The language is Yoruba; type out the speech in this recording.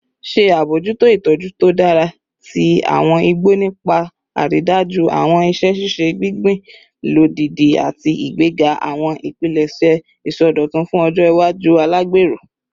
Ṣe abojuto itọju to dara ti awọn igbo nipa aridaju awọn iṣẹ ṣiṣe gbingbin lodidi ati igbega awọn ipilẹṣẹ isọdọtun fun ọjọ iwaju alagbero